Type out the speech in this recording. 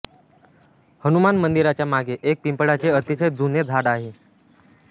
हनुमान मंदिराच्या मागे एक पिंपळाचे अतिशय जुने झाड आहे